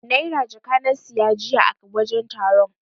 Naira jaka na siya jiya a wajen taron.